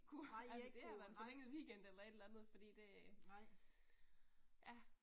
Nej I har ikke kunnet, nej, nej